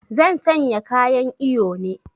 Zan sanya kayan iyo ne